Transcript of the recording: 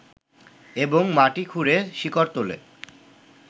এবং মাটি খুঁড়ে শিকড় তোলে